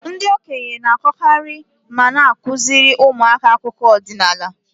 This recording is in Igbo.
Ndị okenye na-akọkarị ma na-akụziri ụmụaka akụkọ ọdinala.